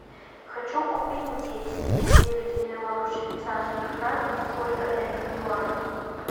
хочу купить десять девять миллионов швейцарских франков сколько это в юанях